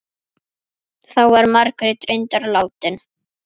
Þá var Margrét reyndar látin.